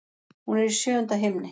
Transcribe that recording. Hún er í sjöunda himni.